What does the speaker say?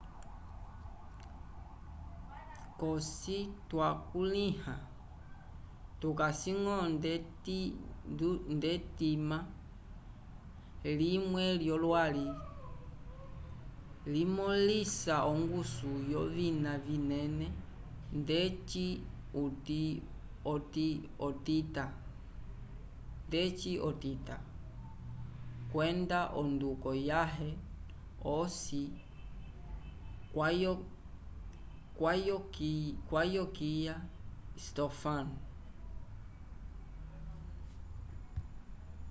cosi twakulĩha vikasi-ñgo nd'etima limwe lyolwali limõlisa ongusu yovina vinene ndeci otitã kwenda onduko yaye osi kwavokiya stofan